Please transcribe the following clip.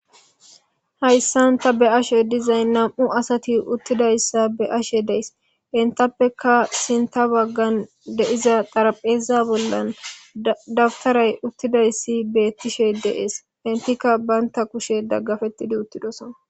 Hayssan ta be'ashe dizay nam'u asati uttida issa be'ashe deys. Entappeka sinta baggan de'iza xarapheeza bollan dabtaray uttida issi beettishe dees. Entikka banta kushe daggafettidi uttidosan.